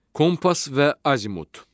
Kompas və Azimut.